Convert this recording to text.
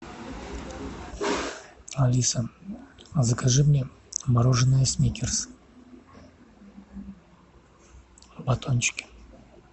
алиса закажи мне мороженное сникерс в батончике